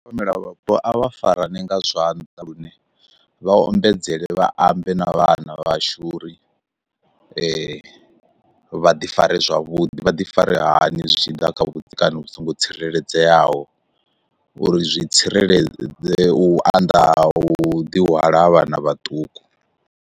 Mela vhapo a vha farane nga zwanḓa lune vha ombedzele vha ambe na vhana vhashu uri vha ḓi fare zwavhuḓi vha ḓi fare hani zwi tshiḓa kha vhudzekani vhu songo tsireledzeaho, uri zwi tsireledzee u anḓa ha u ḓi hwala ha vhana vhaṱuku.